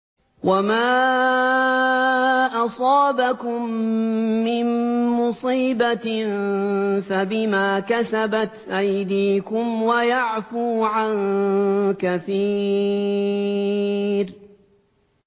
وَمَا أَصَابَكُم مِّن مُّصِيبَةٍ فَبِمَا كَسَبَتْ أَيْدِيكُمْ وَيَعْفُو عَن كَثِيرٍ